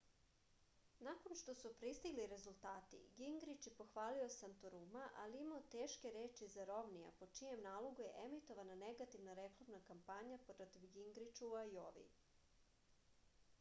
nakon što su pristigli rezultati gingrič je pohvalio santoruma ali je imao teške reči za romnija po čijem nalogu je emitovana negativna reklamna kampanja protiv gingriča u ajovi